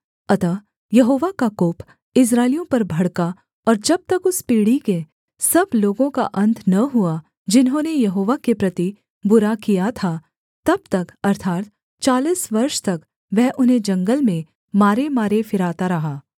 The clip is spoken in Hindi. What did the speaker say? अतः यहोवा का कोप इस्राएलियों पर भड़का और जब तक उस पीढ़ी के सब लोगों का अन्त न हुआ जिन्होंने यहोवा के प्रति बुरा किया था तब तक अर्थात् चालीस वर्ष तक वह उन्हें जंगल में मारेमारे फिराता रहा